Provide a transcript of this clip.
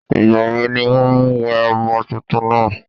ìgbà wo ní wọ́n wẹ ọmọ túntún náà?